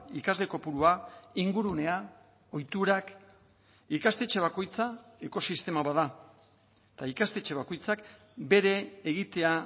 ikasle kopurua ingurunea ohiturak ikastetxe bakoitza ekosistema bat da eta ikastetxe bakoitzak bere egitea